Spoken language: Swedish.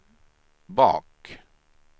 bak